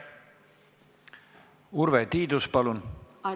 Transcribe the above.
Urve Tiidus, palun!